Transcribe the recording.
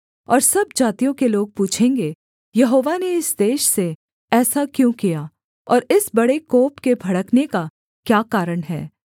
और सब जातियों के लोग पूछेंगे यहोवा ने इस देश से ऐसा क्यों किया और इस बड़े कोप के भड़कने का क्या कारण है